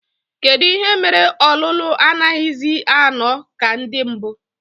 Kedụ ihe mere ọlụlụ anaghịzi anọ ka ndị mbụ?